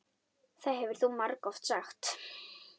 Það hefur þú margoft sagt.